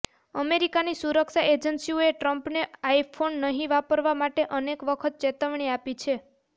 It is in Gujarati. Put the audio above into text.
અમેરિકાની સુરક્ષા એજન્સીઓએ ટ્રમ્પને આઈફોન નહીં વાપરવા માટે અનેક વખત ચેતવણી આપી છે